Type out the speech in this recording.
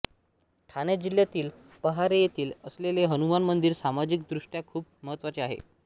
ठाणे जिल्ह्यातील पहारे येथे असलेले हनुमान मंदिर सामाजिक दृष्ट्या खुप महत्वाचे आहे